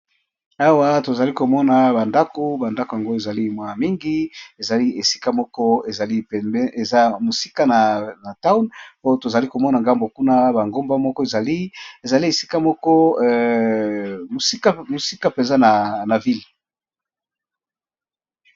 Awa tozalikomona ba ndako ezali ya mingi eza esika moko mosika na town po tozokomona ba nagomba moko eza mosika ya ville.